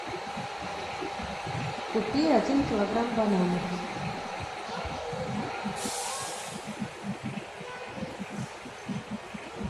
купи один килограмм бананов